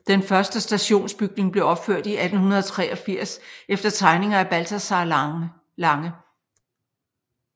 Den første stationsbygning blev opført i 1883 efter tegninger af Balthazar Lange